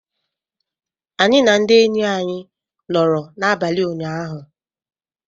Anyị na ndị enyi anyị nọrọ n'abalị ụnyaahụ.